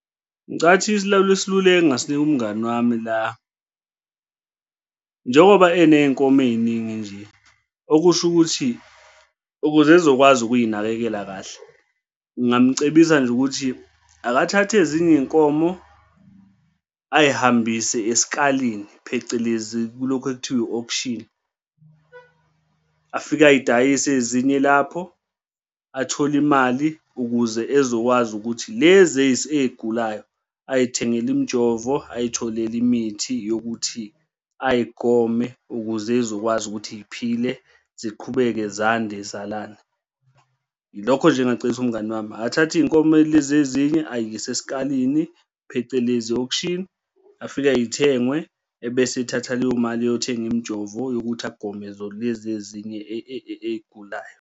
Ngicabanga ukuthi isiluleko engasinika umngani wami la njengoba eney'nkomo ey'ningi nje, okusho ukuthi, ukuze ezokwazi ukuy'nakekela kahle ngingamcebisa nje ukuthi, akathathe ezinye iy'nkomo ay'hambise esikalini phecelezi kulokhu okuthiwa i-auction. Afike ay'dayisi ezinye lapho athole imali ukuze ezokwazi ukuthi lezi ey'gulayo ay'thengele imijovo ay'tholele imithi yokuthi ay'gome ukuze y'zokwazi ukuthi y'phile ziqhubeke zande y'zalane. Yilokho nje engingacebisa umngani wami, akathathe iy'nkomo lezi ezinye ayise esikhaleni phecelezi auction, afike y'thengwe ebese ethatha leyo mali eyothenge imijovo yokuthi agome lezi ezinye ey'gulayo.